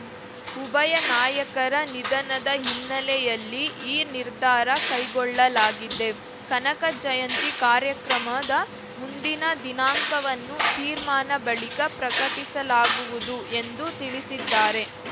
ಉಭಯ ನಾಯಕರ ನಿಧನದ ಹಿನ್ನೆಲೆಯಲ್ಲಿ ಈ ನಿರ್ಧಾರ ಕೈಗೊಳ್ಳಲಾಗಿದೆ ಕನಕ ಜಯಂತಿ ಕಾರ್ಯಕ್ರಮದ ಮುಂದಿನ ದಿನಾಂಕವನ್ನು ತೀರ್ಮಾನ ಬಳಿಕ ಪ್ರಕಟಿಸಲಾಗುವುದು ಎಂದು ತಿಳಿಸಿದ್ದಾರೆ